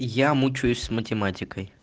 я мучаюсь с математикой